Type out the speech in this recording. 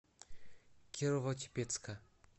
кирово чепецка